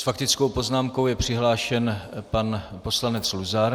S faktickou poznámkou je přihlášen pan poslanec Luzar.